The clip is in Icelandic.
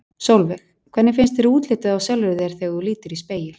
Sólveig: Hvernig finnst þér útlitið á sjálfri þér þegar þú lítur í spegil?